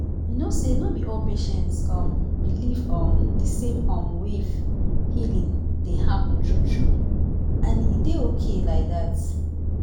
you know say no be all patients um believe um the same um way healing dey happen true true — and e dey okay like that.